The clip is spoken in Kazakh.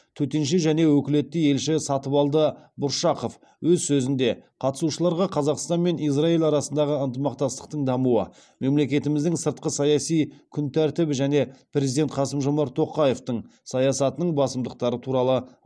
төтенше және өкілетті елші сатыбалды бұршақов өз сөзінде қатысушыларға қазақстан мен израиль арасындағы ынтымақтастықтың дамуы мемлекетіміздің сыртқы саяси күн тәртібі және президент қасым жомарт тоқаевтың саясатының басымдықтары туралы